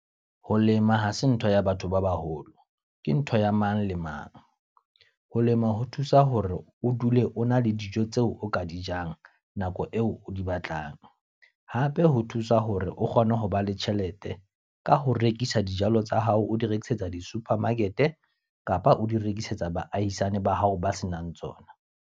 Ho lema ha se ntho ya batho ba baholo. Ke ntho ya mang le mang. Ho lema ho thusa hore o dule o na le dijo tseo o ka di jang, nako eo o di batlang. Hape ho thusa hore o kgone ho ba le tjhelete, ka ho rekisa dijalo tsa hao, o di rekisetsa di-supermarket kapa o di rekisetsa baahisane ba hao ba senang tsona.